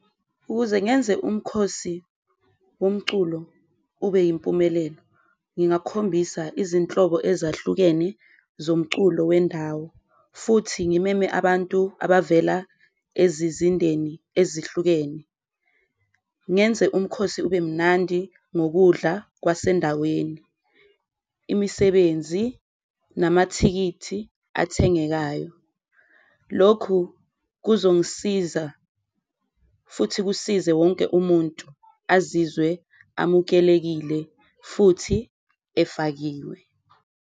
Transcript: Ukuze ngenze umkhosi womculo ube yimpumelelo ngingakhombisa izinhlobo ezahlukene zomculo wendawo futhi ngimeme abantu abavela ezizindeni ezihlukene, ngenze umkhosi ube mnandi ngokudla kwasendaweni. Imisebenzi namathikithi athengekayo, lokhu kuzongisiza futhi kusize wonke umuntu azizwe amukelekile futhi efakiwe.